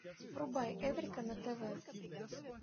врубай эврика на тв